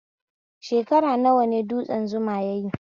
Shekara nawa ne dutsen Zuma yayi?